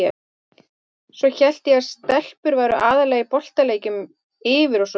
Svo hélt ég að stelpur væru aðallega í boltaleikjum, yfir og svoleiðis.